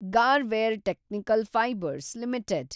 Garware technical fibres limited